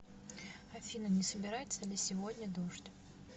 афина не собирается ли сегодня дождь